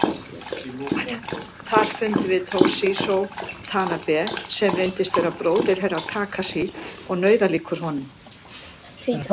Þar fundum við Toshizo Tanabe sem reyndist vera bróðir Herra Takashi og nauðalíkur honum.